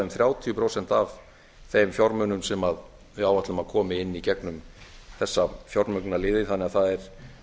um þrjátíu prósent af þeim fjármunum sem við áætlum að komi inn í gegnum þessa fjármögnunarliði þannig að það er